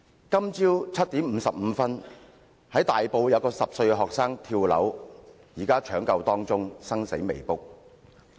今早7時55分，大埔有10歲學生跳樓，現正搶救中，生死未卜。